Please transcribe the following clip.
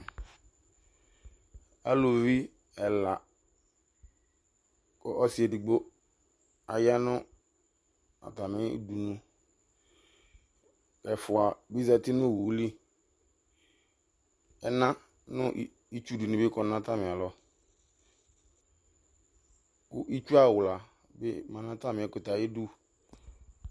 ɛlωvi ɛlɑ kun au ɑyɑnu ɑtɑmïli ɛfuɑ bizɑti nω õwωli ɛɲɑ ɲitsuɗibi kɔ ɲɑtɑmĩɑlɔ, x ku itsu ɑwlɑbi mɑɲɑtɑmiɛkωtɛ ɑyiɗω